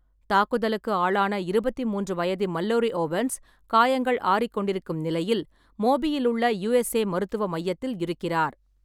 தாக்குதலுக்கு ஆளான இருபத்தி மூன்று வயது மல்லோரி ஓவன்ஸ், காயங்கள் ஆறிக்கொண்டிருக்கும் நிலையில் மோபியிலுள்ள யூஎஸ்ஏ மருத்துவ மையத்தில் இருக்கிறார்.